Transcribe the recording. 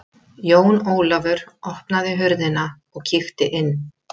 Jón Ólafur opnaði hurðina og kíkti inn.